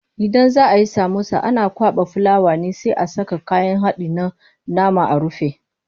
Idan za ayi samosa ana kwaɓa fulawa ne sai a saka kayan haɗin na nama a rufe.